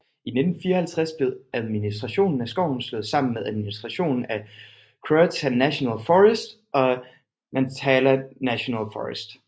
I 1954 blev administrationen af skoven slået sammen med administrationen af Croatan National Forest og Nantahala National Forest